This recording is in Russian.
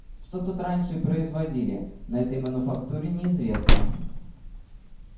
что тут раньше производили на этой мануфактуре неизвестно